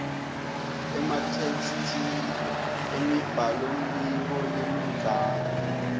ematheksthi emibhalombiko lemidzana